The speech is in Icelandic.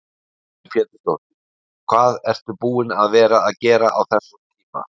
Lillý Valgerður Pétursdóttir: Hvað ertu búin að vera að gera á þessum tíma?